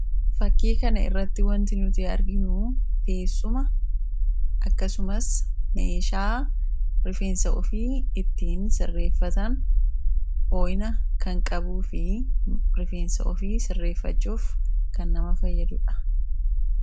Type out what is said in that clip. Fakkii kana irratti wanti nuti arginuu teessuma akkasumas meeshaa rifeensa ofii ittiin sirreeffatan hoo'ina kan qabuu fi rifeensa ofii sirreeffachuuf kan nama fayyadu dha.